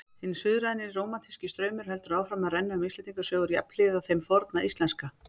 Hinn suðræni rómantíski straumur heldur áfram að renna um Íslendingasögur jafnhliða þeim forna íslenska.